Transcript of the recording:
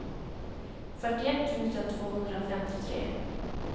fyrtioett tusen tvåhundrafemtiotre